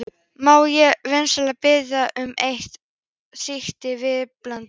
Má ég vinsamlega biðja um eitt stykki vísbendingu?